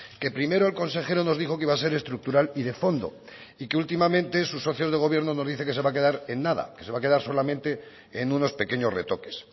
que primero el consejero nos dijo que iba a ser estructural y de fondo y que últimamente su socio de gobierno nos dice que se va a quedar en nada que se va a quedar solamente en unos pequeños retoques